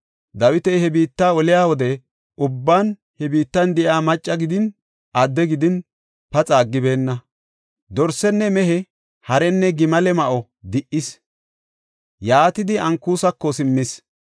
Dawiti he biitta oliya wode ubban he biittan de7iya macca gidin, adde gidin, paxa aggibeenna. Dorsenne mehe, harenne gimale ma7o di77ees; yaatidi Ankusako simmees.